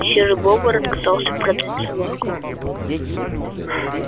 серый бобр отказался продать собаку